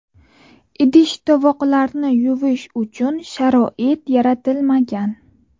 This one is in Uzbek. Idish-tovoqlarni yuvish uchun sharoit yaratilmagan.